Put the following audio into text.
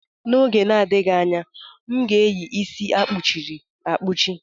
N'oge na-adịghị anya, m ga-eyi isi akpuchi ri akpuchi.